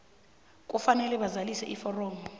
kufanele bazalise iforomo